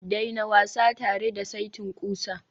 daina wasa tare da saitin ƙusa